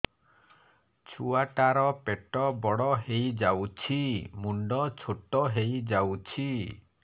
ଛୁଆ ଟା ର ପେଟ ବଡ ହେଇଯାଉଛି ମୁଣ୍ଡ ଛୋଟ ହେଇଯାଉଛି